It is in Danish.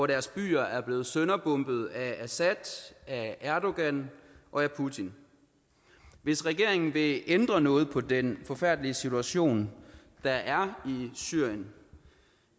deres byer er blevet sønderbombet af assad af erdogan og af putin hvis regeringen vil ændre noget på den forfærdelige situation der er i syrien